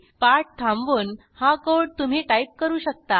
पाठ थांबवून हा कोड तुम्ही टाईप करू शकता